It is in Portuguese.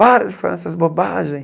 Para de falar essas bobagens.